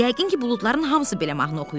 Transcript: Yəqin ki, buludların hamısı belə mahnı oxuyur.